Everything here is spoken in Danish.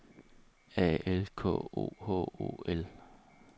A L K O H O L